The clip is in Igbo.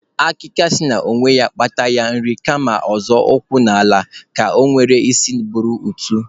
Akịka sị na onye kpata ya rie kama a zọọ ụkwụ n'ala ka ekwem n'isi buru otu.